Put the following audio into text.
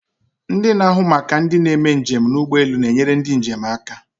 Ndị na-ahụ maka ndị na-eme njem ụgbọelu na-enyere ndị njem aka.